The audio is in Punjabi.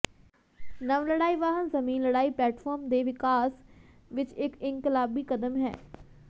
ਨਵ ਲੜਾਈ ਵਾਹਨ ਜ਼ਮੀਨ ਲੜਾਈ ਪਲੇਟਫਾਰਮ ਦੇ ਵਿਕਾਸ ਵਿੱਚ ਇੱਕ ਇਨਕਲਾਬੀ ਕਦਮ ਹੈ